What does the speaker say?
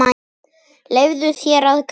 Leyfðu þér að gráta.